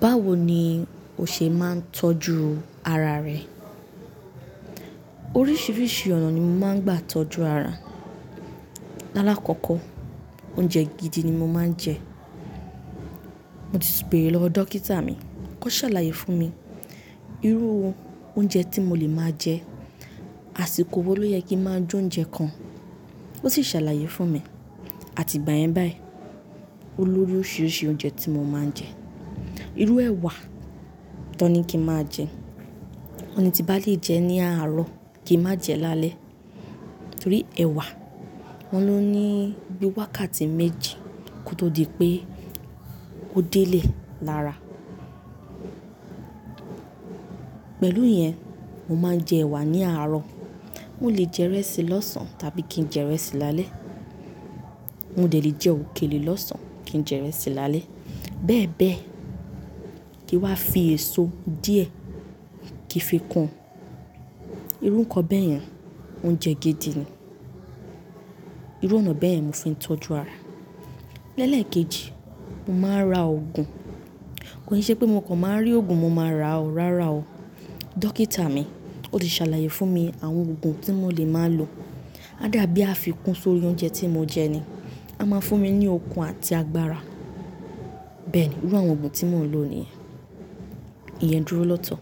Báwo ni o ṣe máa ń tọ́jú ara rẹ? Oríṣiríṣi ọ̀nà ni mo máa ń gbà tọ́jú ara. Lálákọkọ, oúnjẹ gidi ni mo máa ń jẹ. Mo ti bèèrè lọ wò dókítà mi. Ó sàlàyé fún mi, irú oúnjẹ tí mo lè máa jẹ, àsìkò wo ló yẹ kí n máa jẹ óúnjẹ kan. Ó sì sàlàyé fún mi, àti ìgbà yẹn báyì oloju oríṣiríṣi oúnjẹ tí mo máa ń jẹ. Irú ẹwà, tí wọ́n kín máa jẹ. Wọ́n ní tín bá lè jẹ ní àárọ̀ kín má jẹ lálẹ́ torí ẹwà wọn ni ó ní bí wákàtí méjì kó tó di pé ó délé lára. Pẹ̀lú ìyẹn, mo máa ń jẹ ẹwà ní àárọ̀. Mo lè jẹ ìrẹsì lọ́sàn tàbí kín jẹ ìrẹsì lálẹ́ mó dẹ̀ lè jẹ òkèlè lọ́sàn kí n jẹ ìrẹsì lálẹ́. Bẹ́ẹ̀ bẹ́ẹ̀, kín wá fi èso díẹ̀, kín fi kún irú ǹkan bẹ́yẹn oúnjẹ gidi ni. Irú ọ̀nà bẹ́yẹ̀n mo fi ń tọ́jú ara. Lẹ̀lẹ̀ekejì, mo máa ń ra òògùn. Kòi ṣe pé mo kan máa ń rí òògùn, mo máa ra o, rárá o. Dókítà mi ó ti ṣàlàyé fún mi àwọn òògùn tí mo lè máa lò. A dàbí àfikún sórí oúnjẹ tí mo jẹ ni. A máa fún mi ní okun àti agbára. Bẹ́ẹ̀ni irú àwọn òògùn tí mò ń lò nìyen. Iyẹn dúró lọ́tọ̀.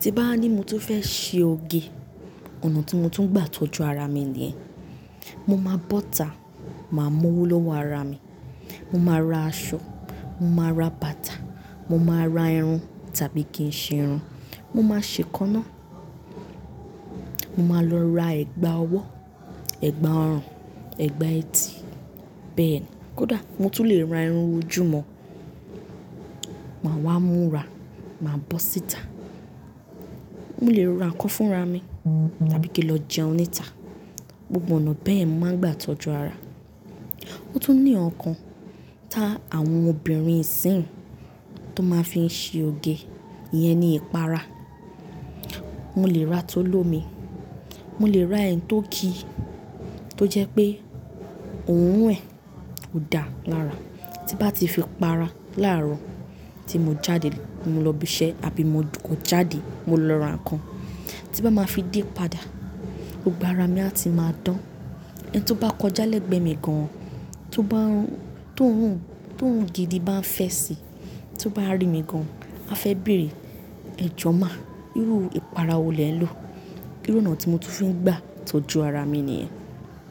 Tí n bá wa ní mo tún fẹ́ ṣe oge, ọ̀nà tí mo tún gbà tọ́jú ara mi nìyen. Mo máa bọ́ta, màá mú owó lọ́wọ́ ara mi. Mo máa ra aṣọ, mo máa ra bàtà, mo máa ra irun tàbí kí n ṣe irun. Mo máa ṣe eekánná. Mo máa lọ ra ẹ̀gbà ọwọ́, ẹ̀gbà ọrùn, ẹ̀gbà etí bẹ́ẹ̀ni. Kódà mo tún lè ra irun ojú mọ́, màá wá múra, màá bọ́ síta. Mo lè ra ǹkan fúnra mi tàbí kí n lọ jẹun níta. Gbogbo ọ̀nà bẹ́yẹn mo màá ń gbà tọ́jú ara. Ó tún ní ǹkankan ta áwọn obìnrin isìń ti wón máa fi ń ṣe oge, ìyẹn ni ìpara. Mo lè ra ti ólómi, mo lè ra ẹ́yi tó kì tó jẹ́ pé oòrun ẹ̀ ò dáa lára. Tí n bá ti fi para làárọ̀ tí mo jáde ti mo lọ ibi iṣẹ́ àbí mo kan jáde mo lọ ra ǹkan, tí n bá máa fi dé padà, gbogbo ara mi a tí máa dán. Ẹni tó bá kọjá lẹ́gbẹ̀ mi gan, tó bá rùn, tí òórùn gidi bá fẹ́ sí, tó bá rí mi gan, á fẹ́ bèèrè, ẹ jọ̀ má, irú ìpara wo lẹ́n lò? Irú ọ̀nà tí mo tún fín gbà tọ́jú ara mi nìyen.